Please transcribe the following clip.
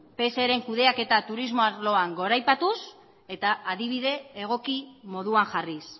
pseren kudeaketa turismo arloan goraipatuz eta adibide egoki moduan jarriz